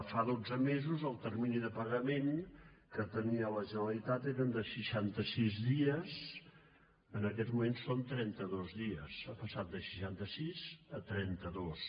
fa dotze mesos el termini de pagament que tenia la generalitat era de seixanta sis dies en aquests moments són trenta dos dies ha passat de seixanta sis a trenta dos